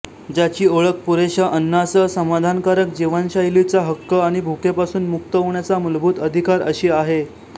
ज्याची ओळख पुरेशा अन्नासह समाधानकारक जीवनशैलीचा हक्क आणि भुकेपासून मुक्त होण्याचा मूलभूत अधिकार अशी आहे